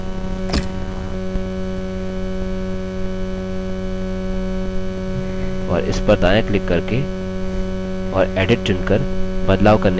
और इस पर दायाँ क्लिक करके और edit चुनकर बदलाव करने के लिए books data entry form खोलेंगे